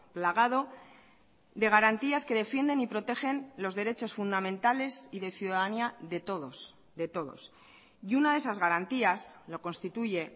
plagado de garantías que defienden y protegen los derechos fundamentales y de ciudadanía de todos de todos y una de esas garantías lo constituye